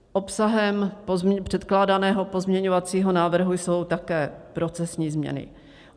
Obsahem předkládaného pozměňovacího návrhu jsou také profesní změny.